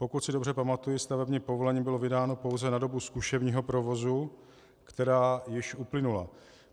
Pokud si dobře pamatuji, stavební povolení bylo vydáno pouze na dobu zkušebního provozu, která již uplynula.